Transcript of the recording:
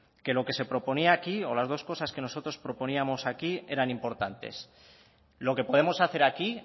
que lo que se proponía aquí o las dos cosas que nosotros proponíamos aquí eran importantes lo que podemos hacer aquí